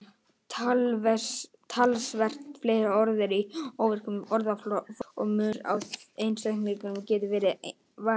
Talsvert fleiri orð eru í óvirkum orðaforða og munur á einstaklingum getur verið verulegur.